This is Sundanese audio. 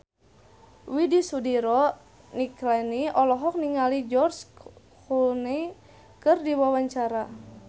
Widy Soediro Nichlany olohok ningali George Clooney keur diwawancara